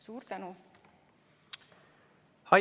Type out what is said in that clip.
Suur tänu!